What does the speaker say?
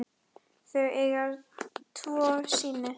Þau eiga tvo syni.